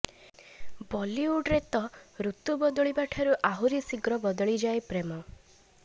ବଲିଉଡରେ ତ ଋତୁ ବଦଳିବାଠୁ ଆହୁରି ଶିଘ୍ର ବଦଳିଯାଏ ପ୍ରେମ